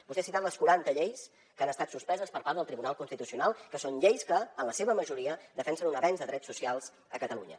vostè ha citat les quaranta lleis que han estat suspeses per part del tribunal constitucional que són lleis que en la seva majoria defensen un avenç de drets socials a catalunya